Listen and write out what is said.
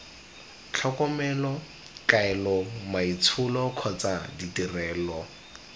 tlhokomelo kaelo maitsholo kgotsa ditirelo